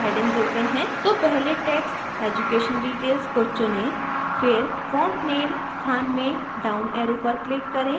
तो पहले text education details को चुनें फिर font name स्थान में down arrow पर click करें